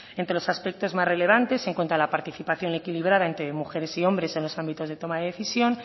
entre los aspectos más relevantes se encuentra la participación equilibrada entre mujeres y hombres en los ámbitos de toma de decisión